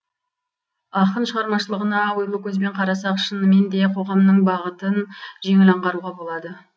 ақын шығамашылығына ойлы көзбен қарасақ шыныменде қоғамның бағытын жеңіл аңғаруға болады